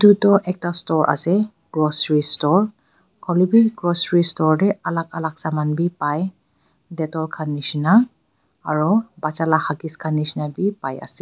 etu toh ekta store ase grocery store hoile bhi grocery store te alag alag saman dekhi pai detol khan nisna aru batcha laga huggies khan nisna bhi pai ase.